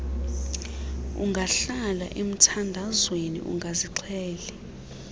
ungahlala emthandazweni ungazixheli